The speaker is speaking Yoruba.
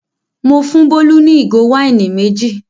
Mo fún Bólú ní ìgò wáìnì méjì.